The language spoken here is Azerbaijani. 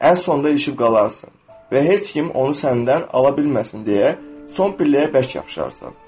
Ən sonda ilişib qalarsan və heç kim onu səndən ala bilməsin deyə son pilləyə bərk yapışarsan.